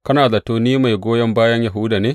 Kana zato ni mai goyon bayan Yahuda ne?